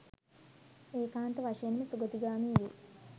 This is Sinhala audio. ඒකාන්ත වශයෙන්ම සුගතිගාමී වෙයි.